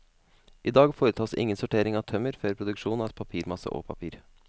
I dag foretas ingen sortering av tømmer før produksjon av papirmasse og papir.